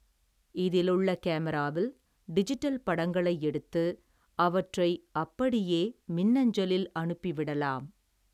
இதிலுள்ள கேமராவில், டிஜிட்டல் படங்களை எடுத்து, அவற்றை அப்படியே மின்னஞ்சலில், அனுப்பி விடலாம்.